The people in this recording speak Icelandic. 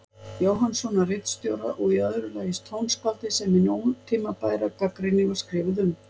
Jóhannssonar ritstjóra, og í öðru lagi tónskáldið sem hin ótímabæra gagnrýni var skrifuð um.